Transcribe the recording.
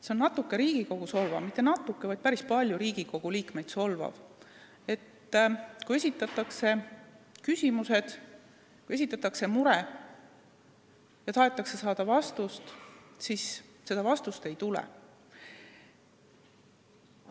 See on Riigikogu solvamine – mitte natuke, vaid päris palju Riigikogu liikmeid solvav –, kui esitatakse küsimusi, sest on mure, tahetakse saada vastuseid, aga neid vastuseid ei tule.